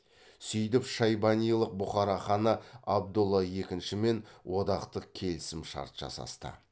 сөйтіп шайбанилық бұхара ханы абдолла екіншімен одақтық келісім шарт жасасты